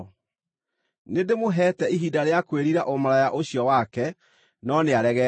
Nĩndĩmũheete ihinda rĩa kwĩrira ũmaraya ũcio wake, no nĩaregete.